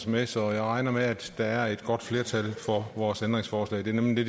med så jeg regner med at der er et godt flertal for vores ændringsforslag det er nemlig